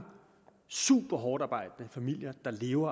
superhårdtarbejdende familier der lever